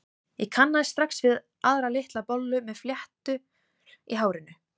Ég kannaðist strax við aðra, litla bollu með fléttur í hárinu.